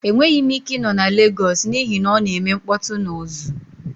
Enweghị m ike ịnọ na Legos n'ihi na ọ na-eme mkpọtụ na uzu.